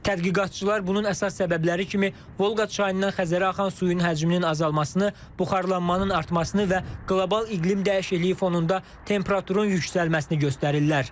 Tədqiqatçılar bunun əsas səbəbləri kimi Volqa çayından Xəzərə axan suyun həcminin azalmasını, buxarlanmanın artmasını və qlobal iqlim dəyişikliyi fonunda temperaturun yüksəlməsini göstərirlər.